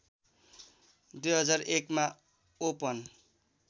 २००१ मा ओपन